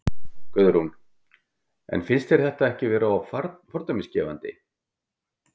Guðrún: En finnst þér þetta ekki vera fordæmisgefandi?